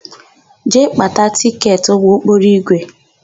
Jee gbata tịketị ụgbọokporoigwe!